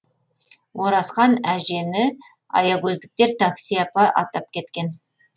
оразхан әжені аягөздіктер такси апа атап кеткен